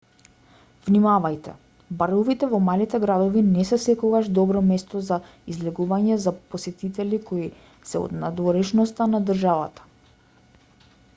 внимавајте баровите во малите градови не се секогаш добро место за излегување за посетители кои се од надворешноста на државата